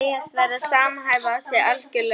Þau segjast verða að samhæfa sig algjörlega.